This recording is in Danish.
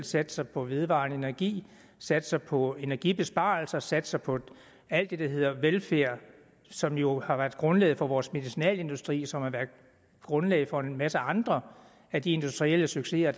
satser på vedvarende energi satser på energibesparelser satser på alt det der hedder velfærd som jo har været grundlaget for vores medicinalindustri som har været grundlaget for en masse andre af de industrielle succeser